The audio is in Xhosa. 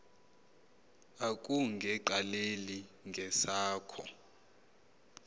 akunge qaleli ngesakho